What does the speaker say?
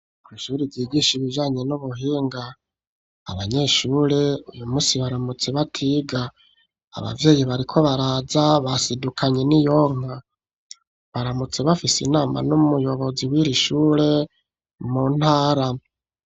Kw'ishuri ryigisha, ibijanye n'ubuhinga; abanyeshure, uyu munsi, baramutse batiga; abavyeyi bariko baraza, basidukanye n'iyonka; baramutse bafise inama, n'umuyobozi w'iri shure, mu ntara.